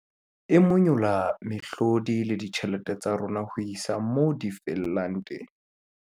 E monyolla mehlodi le ditjhelete tsa rona ho isa moo di fellang teng.